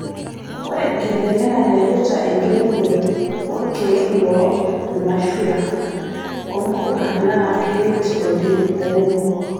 Ore enkitenenga naipirta enkiremore oo ilkeek loo irmashua o mpuka naa keret oleng' lairemok